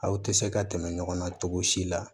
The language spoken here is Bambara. Aw tɛ se ka tɛmɛ ɲɔgɔn na cogo si la